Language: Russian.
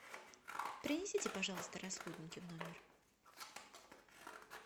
принесите пожалуйста расходники в номер